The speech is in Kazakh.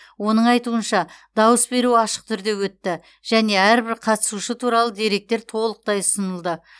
оның айтуынша дауыс беру ашық түрде өтті және әрбір қатысушы туралы деректер толықтай ұсынылды